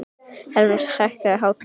Elínrós, hækkaðu í hátalaranum.